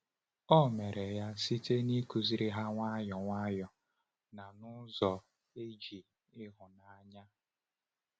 O mere ya site n’ịkụziri ha nwayọ nwayọ na n’ụzọ e ji ịhụnanya.